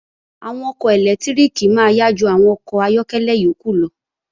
Àwọn ọkọ̀ ẹlẹ́lẹtíríkì máa yá ju àwọn àwọn ọkọ̀ ayọ́kẹ́lẹ́ yókù lọ